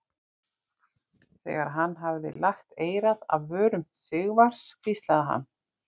Þegar hann hafði lagt eyrað alveg að vörum Sigvarðs hvíslaði hann